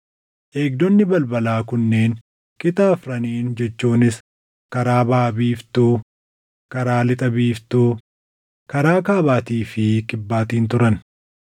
Eegdonni balbalaa kunneen qixa afraniin jechuunis karaa baʼa biiftuu, karaa lixa biiftuu, karaa kaabaatii fi kibbaatiin turan.